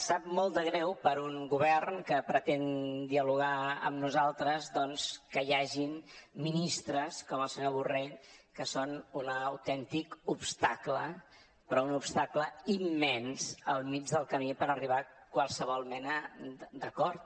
sap molt de greu per un a govern que pretén dialogar amb nosaltres doncs que hi hagi ministres com el senyor borrell que són un autèntic obstacle però un obstacle immens al mig del camí per arribar a qualsevol mena d’acord